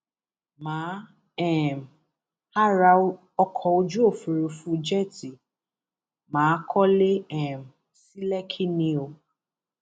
má um a ra ọkọ ojú òfúrufú jẹẹtì má a kọlé um sí lẹkí ni o